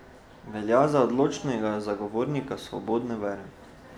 Velja za odločnega zagovornika svobode vere.